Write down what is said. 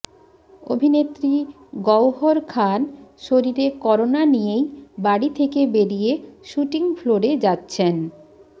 অভিনেত্রী গওহর খান শরীরে করোনা নিয়েই বাড়ি থেকে বেরিয়ে শুটিং ফ্লোরে যাচ্ছেন